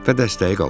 Və dəstəyi qaldırdım.